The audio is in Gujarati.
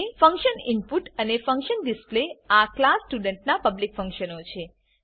ફંક્શન ઇનપુટ અને ફંક્શન ડિસ્પ્લે આ ક્લાસ સ્ટુડન્ટ નાં પબ્લિક ફંક્શનો છે